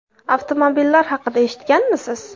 Avtomobillar haqida eshitganmisiz?